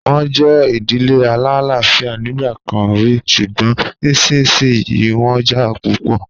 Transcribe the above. Wọ́n jẹ́ ìdílé alálàáfíà nígbà kan rí, ṣùgbọ́n nísinsìnyí wọ́n jà púpọ̀.